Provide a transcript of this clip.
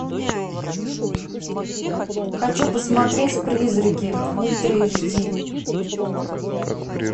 хочу посмотреть призраки ультра эйч ди